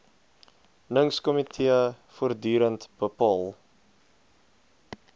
ningskomitee voortdurend bepaal